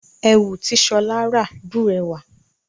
Ẹ̀wù tí Ṣọá rà bùrẹ́wà.